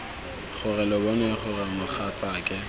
gore lo bone gore mogatsake